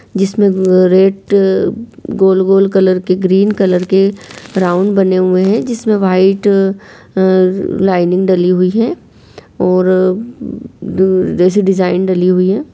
जिसमें गेट गोल-गोल कॉलर के ग्रीन कलर के ब्राउन बने हुए है जिसमें व्हाइट लाइनिंग डाली हुई है और जैसे डिजाइन डाली हुई हैं।